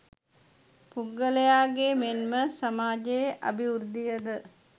පුද්ගලයාගේ මෙන්ම සමාජයේ අභිවෘද්ධිය ද